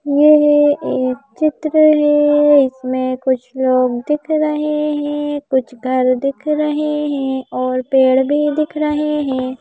ये है एक चित्र है इसमें कुछ लोग दिख रहे हैं कुछ घर दिख रहे हैं और पेड़ भी दिख रहे हैं।